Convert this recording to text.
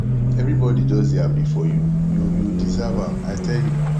everybody just dey happy for you you you deserve am i tell you